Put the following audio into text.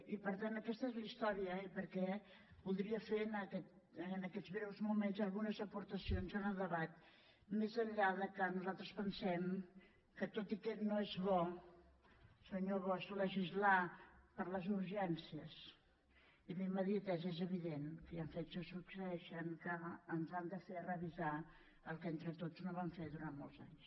i per tant aquesta és la història i voldria fer en aquests breus moments algunes aportacions al debat més enllà que nosaltres pensem que tot i que no és bo senyor bosch legislar per les urgències i la immediatesa és evident que hi han fets que succeeixen que ens han de fer revisar el que entre tots no vam fer durant molts anys